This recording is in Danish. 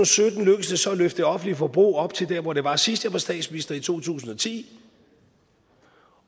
sytten lykkedes det så at løfte det offentlige forbrug op til der hvor det var sidst jeg var statsminister i to tusind og ti